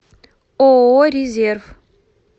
ооо резерв